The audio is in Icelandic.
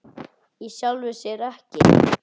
Í sjálfu sér ekki.